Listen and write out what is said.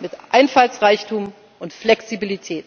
mit Einfallsreichtum und Flexibilität.